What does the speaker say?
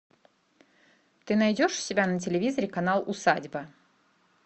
ты найдешь у себя на телевизоре канал усадьба